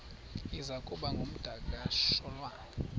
iza kuba ngumdakasholwana